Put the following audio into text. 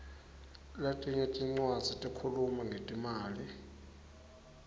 letinye tincwadzi tikhuluma ngetimali